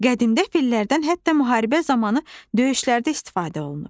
Qədimdə fillərdən hətta müharibə zamanı döyüşlərdə istifadə olunub.